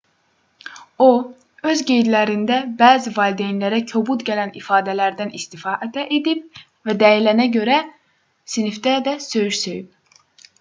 o öz qeydlərində bəzi valideynlərə kobud gələn ifadələrdən istifadə edib və deyilənə görə sinifdə də söyüş söyüb